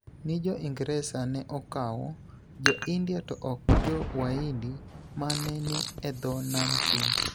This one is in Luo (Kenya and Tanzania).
Ni Jo Ingresa ne okawo Jo-India to ok jo Waindi ma ne ni e dho nam chumbi